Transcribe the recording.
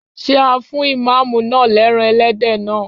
Ṣé a fún Ìmáàmù náà lẹ́ran Ẹlẹ́dẹ̀ naa?